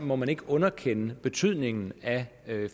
må man ikke underkende betydningen af